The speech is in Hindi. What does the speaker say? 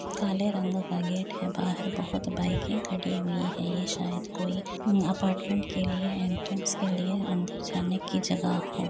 काले रंग का गेट है। बाहर बहोत बाइकें खड़ी हुई हैं। ये शायद कोई अपार्टमेंट के लिए एंट्रेंस के लिए अंदर जाने की जगह हो।